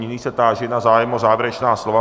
Nyní se táži na zájem o závěrečná slova.